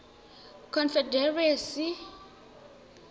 confederacy